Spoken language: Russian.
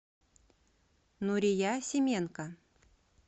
нурия семенко